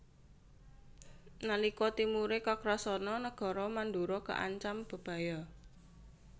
Nalika timure Kakrasana nagara Mandura kaancam bebaya